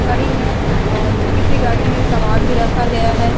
खड़ी हैं और किसी गाड़ी में सामान भी रखा गया हैं।